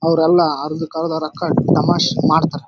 ಅವ್ರೆಲ್ಲ ಅರ್ದು ಕರ್ದಾರ ರಕ್ಕ ಡಮಶ್ ಮಾಡ್ತಾರ.